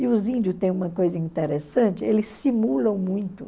E os índios têm uma coisa interessante, eles simulam muito.